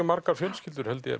margar fjölskyldur held ég